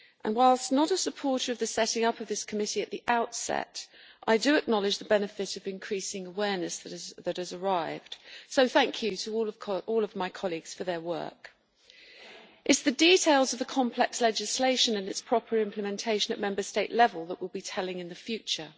Whilst not a supporter of the setting up of this committee at the outset, I do acknowledge the benefit of increasing awareness that has arrived, so thank you to all of my colleagues for their work. It is the details of the complex legislation and its proper implementation at Member State level that will be telling in the future.